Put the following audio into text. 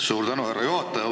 Suur tänu, härra juhataja!